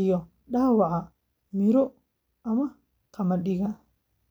iyo dhaawaca miro ama qamadiga.